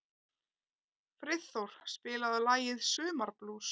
Friðþór, spilaðu lagið „Sumarblús“.